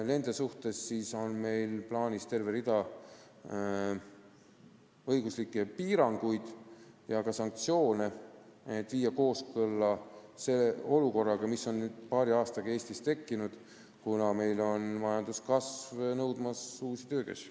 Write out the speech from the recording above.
Nende suhtes on meil plaanis terve rida õiguslikke piiranguid ja sanktsioone, et tekiks kooskõla selle olukorraga, mis on paari aastaga Eestis tekkinud, kuna majanduskasv on nõudmas uusi töökäsi.